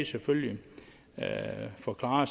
selvfølgelig forklare